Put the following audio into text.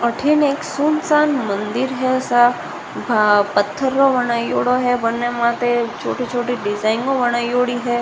अठीने एक सुनसान मंदिर है सा भा पत्थर का बनायोडो है बनने माते छोटी छोटी डिज़ाइन बनायोडी है।